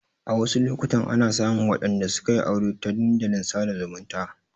A wasu lokutan ana samun waɗanda sukayi aure ta dandalin sada zumunta